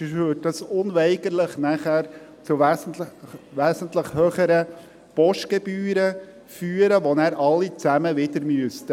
Sonst führte das nachher unweigerlich zu wesentlich höheren Postgebühren, die dann wieder alle berappen müssen.